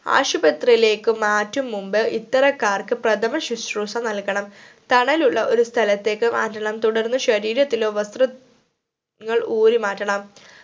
ആശുപത്രിയിലേക്കു മാറ്റും മുമ്പ് ഇത്തരക്കാർക് പ്രഥമ ശുശ്രുഷ നൽകണം തണലുള്ള ഒരു സ്ഥലത്തേക്കു മാറ്റണം തുടർന്ന് ശരിയത്തിലോ വസ്ത്ര ങ്ങൾ ഊരി മാറ്റണം